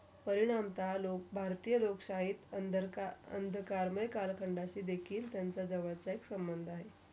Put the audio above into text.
परिनामता, लोक भारतीया, लोक शाहीत under त्यांचा जवळचा संबंध आहे.